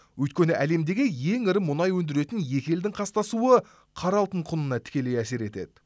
өйткені әлемдегі ең ірі мұнай өндіретін екі елдің қастасуы қара алтын құнына тікелей әсер етеді